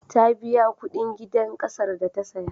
Ta biya kuɗin gidan ƙasar da ta saya.